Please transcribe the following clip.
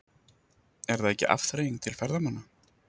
Er það ekki afþreying til ferðamanna?